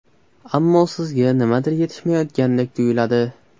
Ammo sizga nimadir yetishmayotgandek tuyiladi.